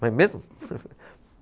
Vai mesmo?